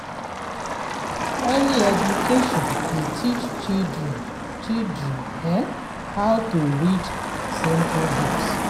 Early education dey teach children children how to read simple books.